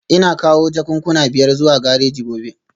Ina kawo jakunkuna biyar zuwa gareji gobe